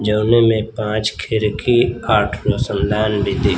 जौन में पांच खिड़की आठ रोशनदान भी दि--